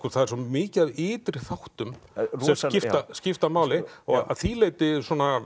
það er svo mikið af ytri þáttum sem skipta máli að því leyti